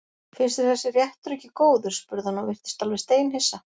Finnst þér þessi réttur ekki góður? spurði hann og virtist alveg steinhissa.